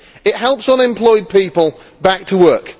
It helps unemployed people back to work.